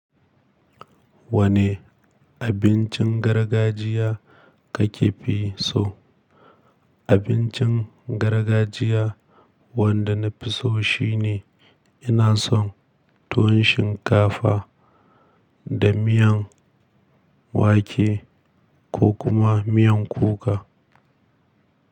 Wane abincin gargajiya kake fi so? Abincin gargajiya wanda na fi so shine ina son tuwon shinkafa da miyan wake ko kuma miyan kuka.